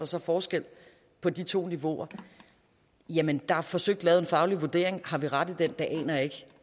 så forskel på de to niveauer jamen der er forsøgt lavet en faglig vurdering og har vi ret i den det aner jeg ikke